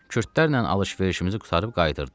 Kürdlərlə alış-verişimizi qurtarıb qayıdırdıq.